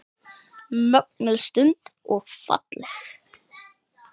Mögnuð stund og falleg.